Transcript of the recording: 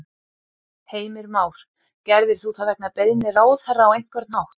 Heimir Már: Gerðir þú það vegna beiðni ráðherra á einhvern hátt?